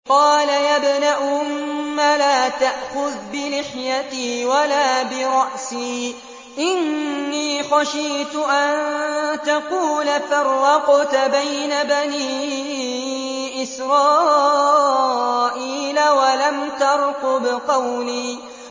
قَالَ يَا ابْنَ أُمَّ لَا تَأْخُذْ بِلِحْيَتِي وَلَا بِرَأْسِي ۖ إِنِّي خَشِيتُ أَن تَقُولَ فَرَّقْتَ بَيْنَ بَنِي إِسْرَائِيلَ وَلَمْ تَرْقُبْ قَوْلِي